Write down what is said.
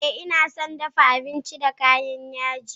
Ee, ina son dafa abinci da kayan yaji